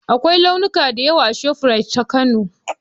Akwai liluna da yawa a shafrait ta Kano